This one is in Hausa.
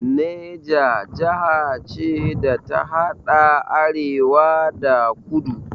Neja jaha ce da ta haɗa arewa da kudu